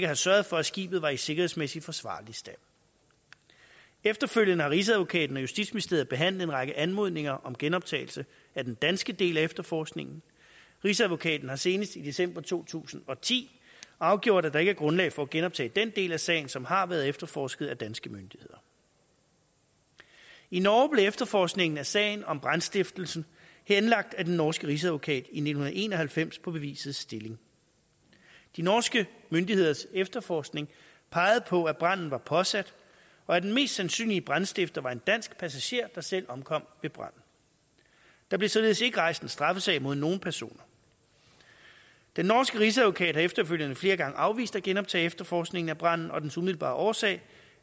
have sørget for at skibet var i sikkerhedsmæssig forsvarlig stand efterfølgende har rigsadvokaten og justitsministeriet behandlet en række anmodninger om genoptagelse af den danske del af efterforskningen rigsadvokaten har senest i december to tusind og ti afgjort at der ikke er grundlag for at genoptage den del af sagen som har været efterforsket af danske myndigheder i i norge blev efterforskningen af sagen om brandstiftelsen henlagt af den norske rigsadvokat i nitten en og halvfems på bevisets stilling de norske myndigheders efterforskning pegede på at branden var påsat og at den mest sandsynlige brandstifter var en dansk passagerer der selv omkom ved branden der blev således ikke rejst en straffesag mod nogen personer den norske rigsadvokat har efterfølgende flere gange afvist at genoptage efterforskningen af branden og dens umiddelbare årsag